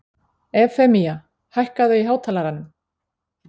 Evfemía, hækkaðu í hátalaranum.